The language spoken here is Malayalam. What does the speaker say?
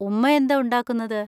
ഉമ്മയെന്താ ഉണ്ടാക്കുന്നത്?